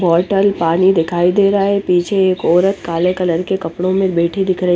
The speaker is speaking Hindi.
बॉटल पानी दिखाई दे रहा है पीछे एक औरत काले कलर के कपडो मे बैठी दिख रही --